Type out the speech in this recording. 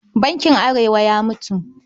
Bankin Arewa ya mutu.